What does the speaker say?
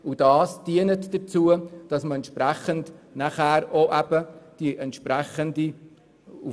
Das wiederum dient dazu, dass man mit diesen Leuten auf Augenhöhe zusammenarbeiten kann.